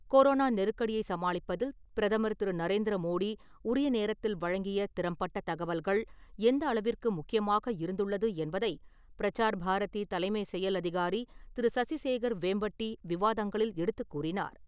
Corona நெருக்கடியை சமாளிப்பதில், பிரதமர் திரு. நரேந்திர மோடி உரிய நேரத்தில் வழங்கிய, திறம் பட்ட தகவல்கள், எந்த அளவிற்கு முக்கியமாக இருந்துள்ளது என்பதை, பிரசார் பாரதி தலைமை செயல் அதிகாரி திரு. சசி சேகர் வேம்பட்டி விவாதங்களில் எடுத்துக் கூறினார்.